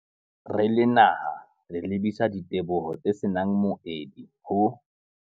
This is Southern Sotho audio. Re le naha, re lebisa diteboho tse se nang moedi ho